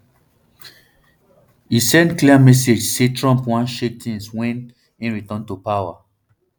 e send clear message say trump wan shake tins wen um e return to power